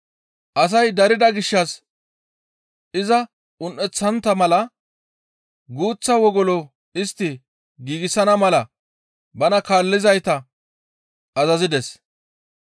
Asay darida gishshas iza un7eththontta mala guuththa wogolo istti giigsana mala bana kaallizayta azazides.